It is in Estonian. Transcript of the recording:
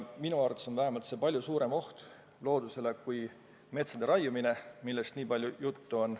Minu arvates on see palju suurem oht loodusele kui metsade raiumine, millest nii palju juttu on.